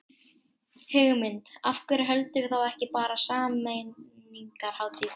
Hugmynd, af hverju höldum við þá ekki bara sameiningarhátíð.